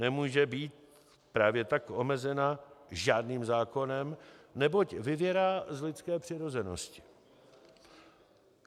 Nemůže být právě tak omezena žádným zákonem, neboť vyvěrá z lidské přirozenosti.